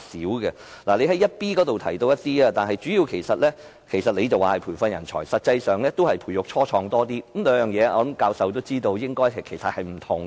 局長在主體答覆第二 b 部分中提到一些工作，局長說是培訓人才，但實際上是培育初創企業較多，我想教授也知道兩者是不同的。